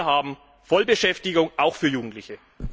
Wir haben Vollbeschäftigung, auch für Jugendliche.